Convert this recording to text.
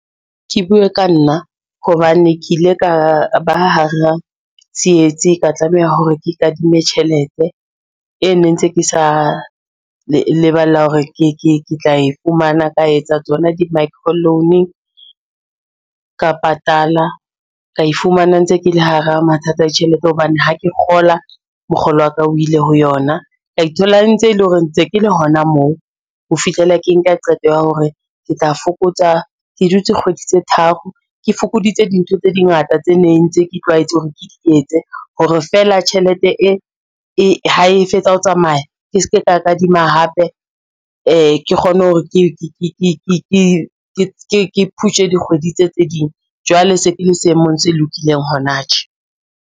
Ke bue ka nna hobane ke ile ka ba hara tsietsi ka tlameha hore ke kadime tjhelete, e ne ntse ke sa leballa hore ke tla e fumana, ka etsa tsona di-micro loan ka patala ka e fumana ntse ke le hara mathata a ditjhelete hobane ha ke kgola, mokgolo wa ka o ile ho yona. Ka ithola e ntse e le hore ntse ke le hona moo ho fihlela ke nka qeto ya hore ke tla fokotsa, ke dutse kgwedi tse tharo ke fokoditse dintho tse di ngata tse neng ntse ke tlwaetse hore ke etse hore fela tjhelete e ha e fetsa ho tsamaya ke se ke ka kadima hape ke kgone hore ke phushe dikgwedi tse tse ding jwale se ke le seemong se lokileng hona tje.